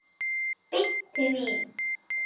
Beint til mín!